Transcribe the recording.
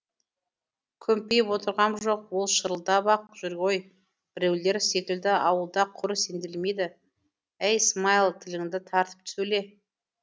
күмпиіп отырғам жоқ ол шырылдап ақ жүр ғой біреулер секілді ауылда құр сенделмейді әй смайыл тіліңді тартып сөйле